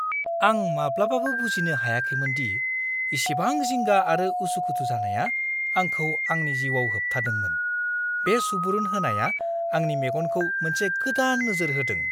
आं माब्लाबाबो बुजिनो हायाखैमोन दि इसेबां जिंगा आरो उसु-खुथु जानाया आंखौ आंनि जिउआव होबथादोंमोन। बे सुबुरुन होनाया आंनि मेगनखौ मोनसे गोदान नोजोर होदों!